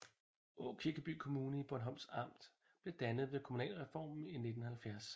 Aakirkeby Kommune i Bornholms Amt blev dannet ved kommunalreformen i 1970